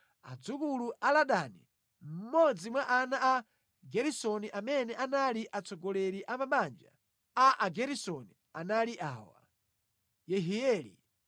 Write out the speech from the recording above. Adzukulu a Ladani, mmodzi mwa ana a Geresoni, amene anali atsogoleri a mabanja a Ageresoni, anali awa: Yehieli,